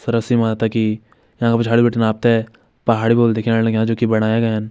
सरस्वती माता की यंका पिछड़ी बिटिन आपते पहाड़ी बोल दिख्याण लाग्यां जोकि बणाया गयन।